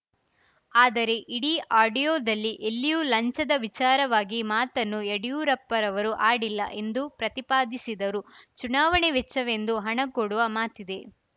ಆದರೆ ಇಡೀ ಆಡಿಯೋದಲ್ಲಿ ಎಲ್ಲಿಯೂ ಲಂಚದ ವಿಚಾರವಾಗಿ ಮಾತನ್ನು ಯಡಿಯೂರಪ್ಪರವರು ಆಡಿಲ್ಲ ಎಂದು ಪ್ರತಿಪಾದಿಸಿದರು ಚುನಾವಣೆ ವೆಚ್ಚವೆಂದು ಹಣ ಕೊಡುವ ಮಾತಿದೆ